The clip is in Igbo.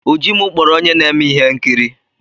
Ujimu kpọrọ onye na-eme ihe nkiri.